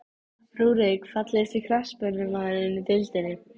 Rúrik Fallegasti knattspyrnumaðurinn í deildinni?